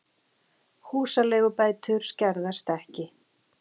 Húsaleigubætur skerðast ekki